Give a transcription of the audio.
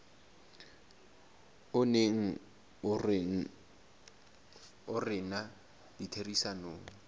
o neng o rena ditherisanong